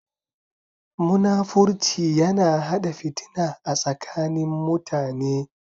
Munafurci yana hada fitina a tsakanin Mutane.